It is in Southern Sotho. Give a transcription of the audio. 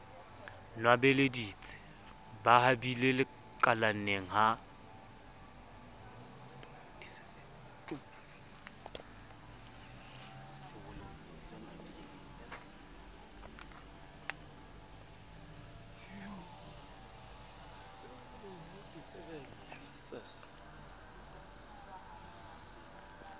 nwabeleditse ba habile kalaneng ha